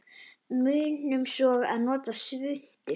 Munum svo að nota svuntu.